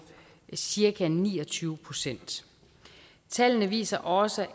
cirka ni og tyve procent tallene viser også